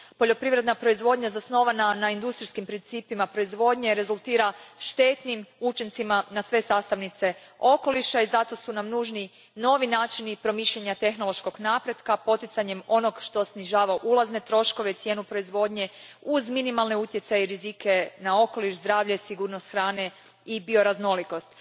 Poljoprivredna proizvodnja zasnovana na industrijskim principima proizvodnje rezultira štetnim učincima na sve sastavnice okoliša i zato su nam nužni novi načini promišljanja tehnološkog napretka poticanjem onoga što snižava ulazne troškove i cijenu proizvodnje uz minimalne utjecaje i rizike na okoliš, zdravlje, sigurnost hrane i bioraznolikost.